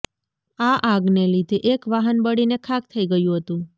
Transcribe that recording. આ આગને લીધે એક વાહન બળીને ખાખ થઈ ગયું હતુ